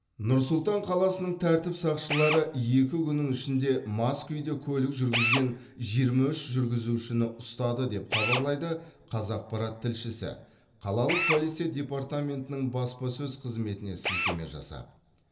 нұр сұлтан қаласының тәртіп сақшылары екі күннің ішінде мас күйде көлік жүргізген жиырма үш жүргізушіні ұстады деп хабарлайды қазақпарат тілшісі қалалық полиция департаментінің баспасөз қызметіне сілтеме жасап